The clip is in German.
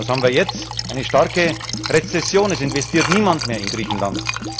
Was haben wir jetzt? Eine starke Rezession Es investiert niemand mehr in Griechenland.